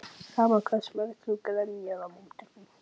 Sama hversu mjög þú grenjar á móti því.